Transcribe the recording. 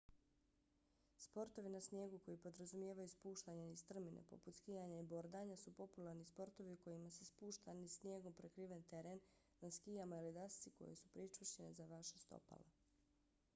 sportovi na snijegu koji podrazumijevaju spuštanje niz strmine poput skijanja i bordanja su popularni sportovi u kojima se spušta niz snijegom prekriven teren na skijama ili dasci koje su pričvršćene za vaša stopala